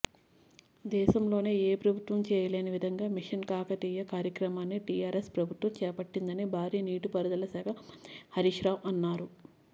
దేశంలోనే ఏ ప్రభుత్వం చేయలేని విధంగా మిషన్కాకతీయ కార్యక్రమాన్ని టిఆర్ఎస్ ప్రభుత్వం చేపట్టిందని భారీనీటిపారుదలశాఖ మంత్రి హరీశ్రావు అన్నారు